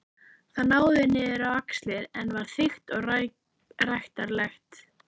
Það náði niður á axlir en var þykkt og ræktarlegt.